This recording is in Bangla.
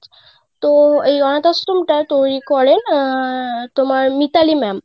তো এই অনাথ আশ্রম টা তৈরি করেন আহ তোমার মিতালি ma'am.